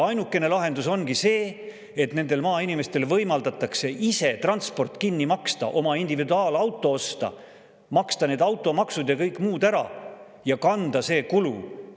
Ainukene lahendus ongi see, et nendel maainimestel võimaldatakse ise transport kinni maksta, oma individuaalauto osta, maksta need automaksud ja kõik muud ära ja kanda see kulu.